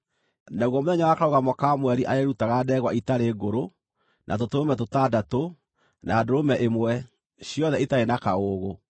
Naguo mũthenya wa Karũgamo ka Mweri arĩĩrutaga ndegwa ĩtarĩ ngũrũ, na tũtũrũme tũtandatũ, na ndũrũme ĩmwe, ciothe itarĩ na kaũũgũ.